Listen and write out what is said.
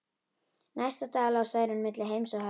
Næstu daga lá Særún milli heims og helju.